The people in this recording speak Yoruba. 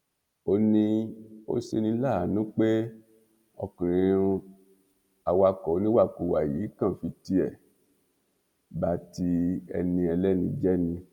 ó ní ó ṣe ní láàánú pé ọkùnrin awakọ oníwàkuwà yìí kàn fi tiẹ ba ti ẹni ẹlẹni jẹ ni